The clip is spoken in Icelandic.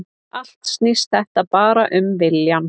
Allt snýst þetta bara um viljann